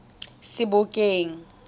sebokeng